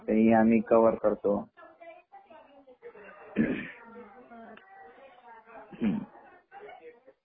ते आम्ही कवर करतो .बर हम्म